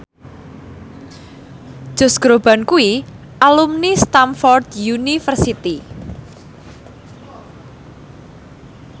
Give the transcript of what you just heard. Josh Groban kuwi alumni Stamford University